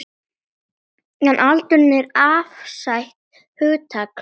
En aldur er afstætt hugtak.